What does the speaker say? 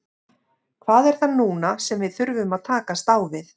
Hvað er það núna sem við þurfum að takast á við?